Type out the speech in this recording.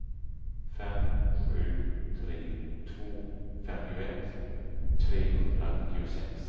fem sju tre två femtioett trehundranittiosex